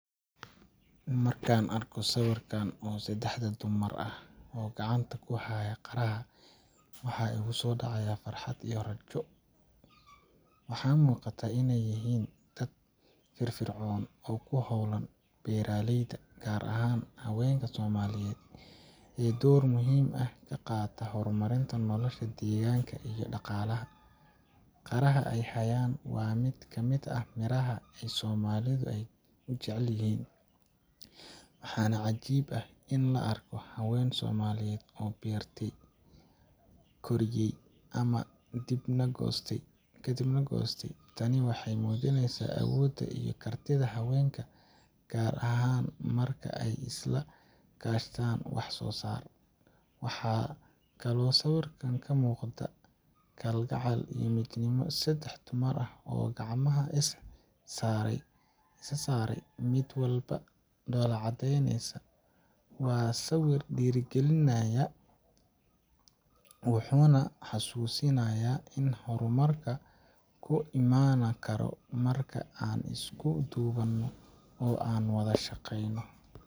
Markaan arko sawirkan oo saddexda dumar ah oo gacanta ku haya qaraha, waxa igu soo dhacaya farxad iyo rajo. Waxaa muuqata in ay yihiin dad firfircoon oo ku hawlan beeralayda, gaar ahaan haweenka Soomaaliyeed ee door muhiim ah ka qaata horumarinta nolosha deegaanka iyo dhaqaalaha. Qaraha ay hayaan waa mid ka mid ah miraha ay Soomaalidu aad u jecel yihiin, waxaana cajiib ah in la arko haween Soomaaliyeed oo beertay, koriyey, ama ka dibna goostay. Tani waxay muujinaysaa awoodda iyo kartida haweenkeena, gaar ahaan marka ay iska kaashadaan wax soo saar. Waxaa kaloo sawirkan ka muuqda kalgacal iyo midnimo saddex dumar ah oo gacmaha is saaray, mid walba dhoolla caddeynaysa. Waa sawir dhiirrigelinaya, wuxuuna xasuusinayaa in horumarka uu ku imaan karo marka aan isku duubnaano oo aan wada shaqeyno.